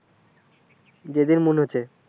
যেদিন মনে হচ্ছে।